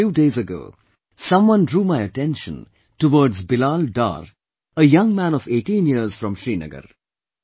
Just a few days ago some one drew my attention towards Bilal Dar, a young man of 18 years from Srinagar